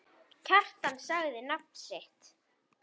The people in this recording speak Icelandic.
Kjartan sagði nafn sitt.